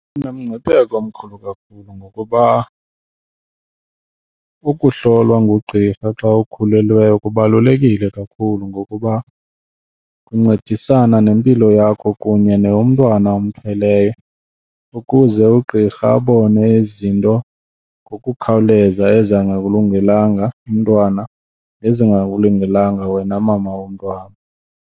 Inomngcipheko omkhulu kakhulu ngokuba ukuhlolwa ngugqirha xa ukhulelweyo kubalulekile kakhulu ngokuba kuncedisana nempilo yakho kunye neyomntwana omthweleyo ukuze ugqirha abone izinto ngokukhawuleza ezingakulungelanga umntwana nezingakulungelanga wena mama womntwana.